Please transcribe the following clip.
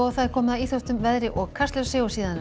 komið að íþróttum veðri og Kastljósi